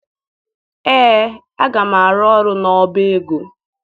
Ee, aga m arụ ọrụ n'ọba ego.